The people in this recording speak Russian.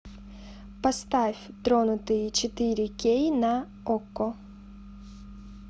поставь тронутые четыре кей на окко